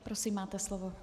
Prosím, máte slovo.